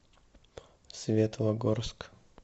светлогорск